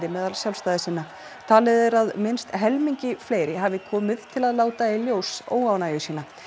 meðal sjálfstæðissinna talið er að minnst helmingi fleiri hafi komið til að láta í ljós óánægju sína